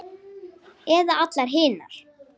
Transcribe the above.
Eða allar hinar?